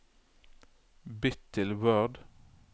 Bytt til Word